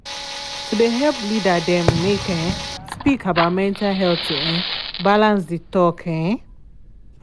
to de help leader dem make um speak about mental health to um balance de talk. um